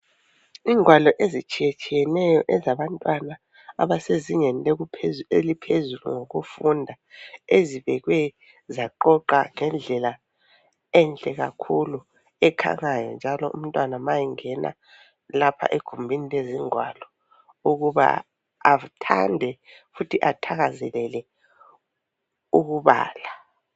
Ingwalo ezitshiyetshiyeneyo ezabantwana abasezingeni eliphezulu ngokufunda ezibekwe zaqoqwa ngendlela enhle kakhulu ekhangayo njalo umntwana ma engena lapha egumbini lezingwalo ukuba athande futhi athakazelele ukubala.